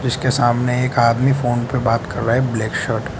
उसके सामने एक आदमी फोन पे बात कर रहा है ब्लैक शर्ट --